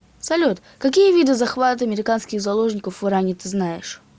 салют какие виды захват американских заложников в иране ты знаешь